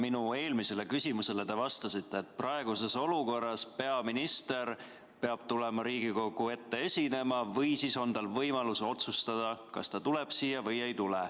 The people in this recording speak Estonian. Minu eelmisele küsimusele te vastasite, et praeguses olukorras peaminister peab tulema Riigikogu ette esinema või siis on tal võimalus otsustada, kas ta tuleb siia või ei tule.